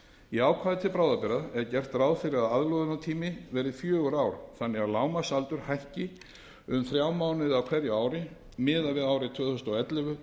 í ákvæði til bráðabirgða er gert ráð fyrir að aðlögunartími verði fjögur ár þannig að lágmarksaldur hækki um þrjá mánuði á hverju ári miðað við árið tvö þúsund og ellefu